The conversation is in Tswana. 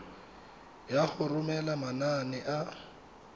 ya go romela manane a